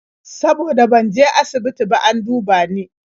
Saboda ban je asibiti ba an duba ni.